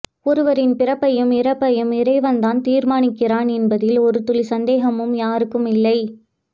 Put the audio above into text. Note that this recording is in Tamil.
ஒருவரின் பிறப்பையும் இறப்பையும் இறைவன் தான் தீர்மானிக்கிறான் என்பதில் ஒரு துளி சந்தேகமும் யாருக்கும் இல்லை